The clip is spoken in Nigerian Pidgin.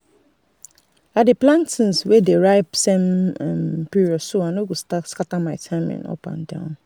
i dey plant things wey dey ripe same um period so i no go scatter my timing up and down.